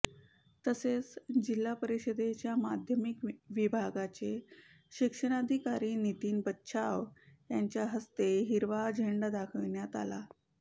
तसेच जिल्हा परिषदेच्या माध्यमिक विभागाचे शिक्षणाधिकारी नितीन बच्छाव यांच्या हस्ते हिरवा झेंडा दाखविण्यात आला